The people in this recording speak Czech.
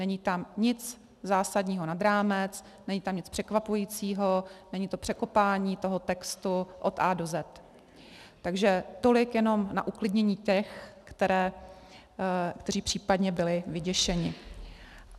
Není tam nic zásadního nad rámec, není tam nic překvapujícího, není to překopání toho textu od A do Z. Takže tolik jenom na uklidnění těch, kteří případně byli vyděšeni.